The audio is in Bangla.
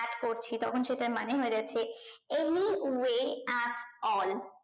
add করছি তখন সেটার মানে হয়ে যাচ্ছে any way at all